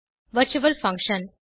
virtual function